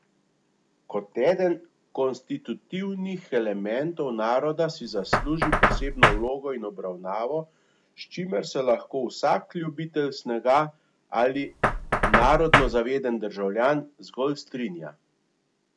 Kot eden konstitutivnih elementov naroda si zasluži posebno vlogo in obravnavo, s čimer se lahko vsak ljubitelj snega, ali narodno zaveden državljan, zgolj strinja.